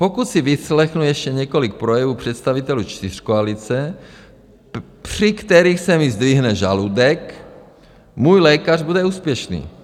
- Pokud si vyslechnu ještě několik projevů představitelů čtyřkoalice, při kterých se mi zdvihne žaludek, můj lékař bude úspěšný.